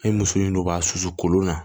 An ye muso in don k'a susu kolon na